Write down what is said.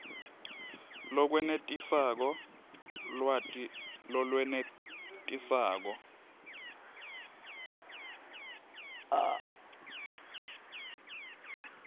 lokwenetisako lwati lolwenetisako